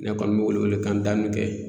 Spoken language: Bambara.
Ne kɔni bɛ wele wele kan da min kɛ.